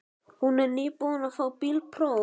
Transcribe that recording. Hún er nýbúin að fá bílpróf.